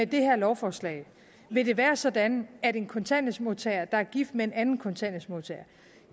det her lovforslag vil det være sådan at en kontanthjælpsmodtager der er gift med en anden kontanthjælpsmodtager